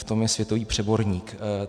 V tom je světový přeborník.